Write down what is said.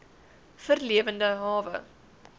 v lewende hawe